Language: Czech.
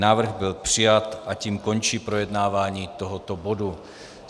Návrh byl přijat a tím končí projednávání tohoto bodu.